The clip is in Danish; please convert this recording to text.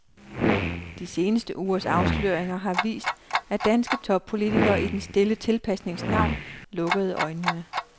De seneste ugers afsløringer har vist, at danske toppolitikere i den stille tilpasnings navn lukkede øjnene.